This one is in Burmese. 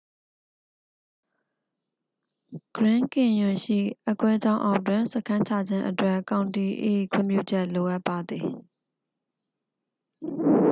ဂရင်းကင်ယွန်ရှိအက်ကွဲကြောင်းအောက်တွင် စခန်းချခြင်းအတွက် ကောင်တီ၏ခွင့်ပြုချက်လိုအပ်ပါသည်